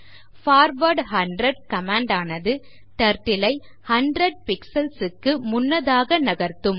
forward 100 command ஆனது Turtle ஐ 100 pixels க்கு முன்னதாக நகர்த்தும்